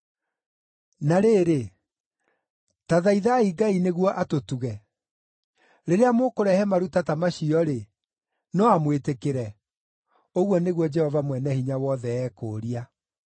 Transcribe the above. “Na rĩrĩ, ta thaithai Ngai nĩguo atũtuge. Rĩrĩa mũkũrehe maruta ta macio-rĩ, no amwĩtĩkĩre?” Ũguo nĩguo Jehova Mwene Hinya Wothe ekũũria.